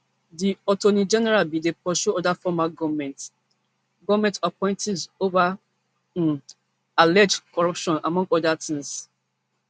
di attorney general bin dey pursue oda former goment goment appointees ova um alleged corruption among oda tins